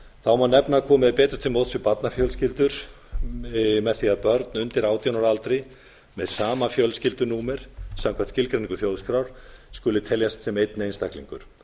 þá má nefna að komið er áður til móts við barnafjölskyldur með því að börn undir átján ára aldri með sama fjölskyldu númer samkvæmt skilgreiningu þjóðskrár skuli teljast sem einn einstaklingur